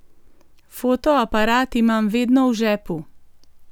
Fotoaparat imam vedno v žepu.